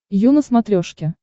ю на смотрешке